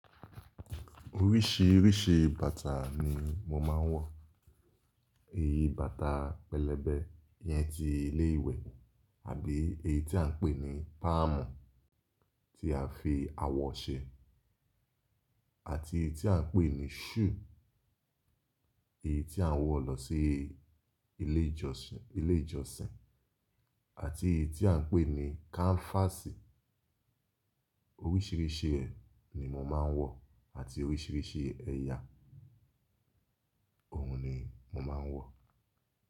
Oríṣìíríṣìí bàtà ni mo máa ń wọ, èyí bàtà pẹlẹbẹ yẹn tí ilé ìwẹ̀ àbí èyí tí à ń pè ní páàmù tí a fi awọ ṣe àti èyí tí à ń pè ní shùù, èyí tí à ń wọ lọ sí ilé ìjọsìn, ilé ìjọsìn àti èyí tí à ń pè ní káńfásì. Oríṣìíríṣìí ẹ ni mo máa ń wọ àti oríṣìíríṣìí ẹyà òun ni mo máa ń wọ.